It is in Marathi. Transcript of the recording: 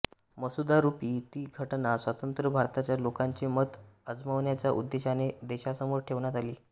मसुदारुपी ती घटना स्वतंत्र भारताच्या लोकांचे मत अजमावण्याच्या उद्देशाने देशासमोर ठेवण्यात आली